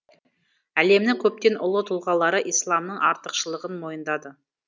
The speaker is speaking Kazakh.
әлемнің көптен ұлы тұлғалары исламның артықшылығын мойындады